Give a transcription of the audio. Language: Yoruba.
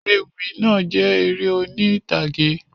Ewì náà jẹ eré oni ìtàgé